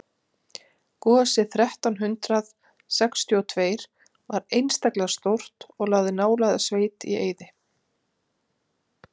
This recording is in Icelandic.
gosið þrettán hundrað sextíu og tveir var einstaklega stórt og lagði nálæga sveit í eyði